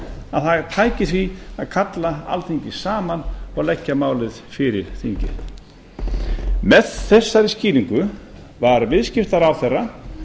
að það tæki því að kalla alþingi saman og leggja málið fyrir þingið með þessari skýringu var viðskiptaráðherra